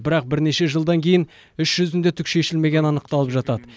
бірақ бірнеше жылдан кейін іс жүзінде түк шешілмегені анықталып жатады